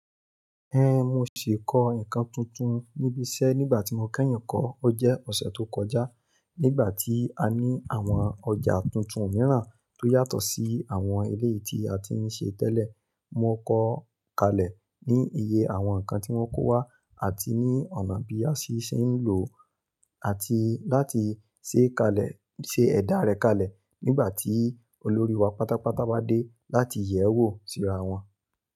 Ẹhn, mo ṣì kọ́ nǹkan tuntun níbi iṣẹ́ nígbà tí mo kẹ́yìn kọ́ ọ jẹ́ ọ̀ṣẹ̀ tó kọjá. Nígbà tí a ní àwọn ọjà tuntun mìíràn tó yàtọ̀ sí àwọn eléyii tí a ti ń ṣe tẹ́lẹ̀, mo kọ́ kalẹ̀ ní iye àwọn nǹkan tí wọ́n kó wá àti ní ọ̀nà bí a si ṣe ń lò ó àti láti ṣe kalẹ̀, ṣe ẹ̀dá rẹ̀ kalẹ̀ nígbà tí olórí wa pátápátá bá dé láti yẹ̀ ẹ́ wò síra wọn.